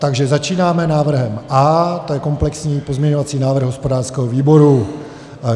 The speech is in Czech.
Takže začínáme návrhem A, to je komplexní pozměňovací návrh hospodářského výboru.